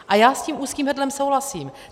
A já s tím úzkým hrdlem souhlasím.